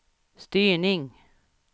styrning